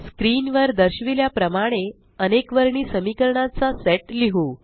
screen वर दर्शविल्या प्रमाणे अनेकवर्णी समीकरणाचा चा सेट लिहु